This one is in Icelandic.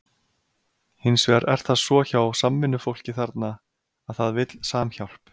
Hins vegar er það svo hjá samvinnufólki þarna, að það vill samhjálp.